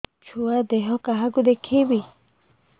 ଛୁଆ ଦେହ କାହାକୁ ଦେଖେଇବି